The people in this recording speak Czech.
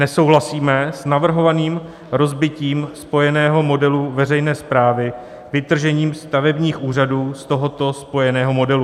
Nesouhlasíme s navrhovaným rozbitím spojeného modelu veřejné správy vytržením stavebních úřadů z tohoto spojeného modelu.